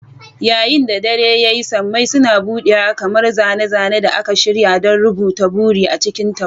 Yayin da dare ya yi, sammai suna buɗewa kamar zane-zane da aka shirya don rubuta buri a cikin taurari.